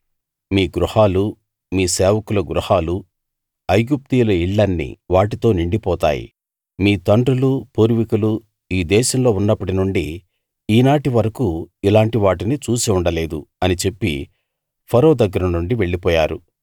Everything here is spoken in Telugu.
మీ గృహాలూ మీ సేవకుల గృహాలూ ఐగుప్తీయుల ఇళ్ళన్నీ వాటితో నిండిపోతాయి మీ తండ్రులు పూర్వికులు ఈ దేశంలో ఉన్నప్పటి నుండి ఈనాటి వరకూ ఇలాంటి వాటిని చూసి ఉండలేదు అని చెప్పి ఫరో దగ్గర నుండి వెళ్ళిపోయారు